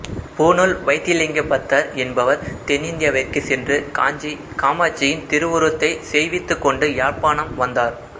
பூணூல் வைத்தியலிங்கப் பத்தர் என்பவர் தென்னிந்தியாவிற்குச் சென்று காஞ்சி காமாட்சியின் திருவுருவத்தைச் செய்வித்துக் கொண்டு யாழ்ப்பாணம் வந்தார்